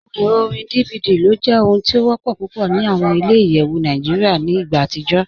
Awọn èrò orín DVD ló jẹ ohun tí o wọ́pọ̀ púpọ̀ ní awọn ilẹ̀-ìyẹwu Nàìjíríà ni igbà atijọ̀.